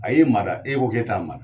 A y'e mada, e k'o k'e t'a mada